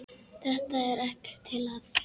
Þetta er ekkert til að.